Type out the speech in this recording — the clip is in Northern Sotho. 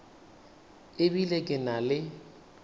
e bile ke na le